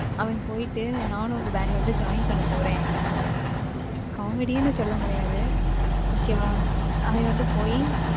அவன் போயிட்டு நானும் உங்க band ல வந்து join பண்ண போறேன். comedian ன்னு சொல்ல முடியாது. okay வா? அவன் வந்து போயி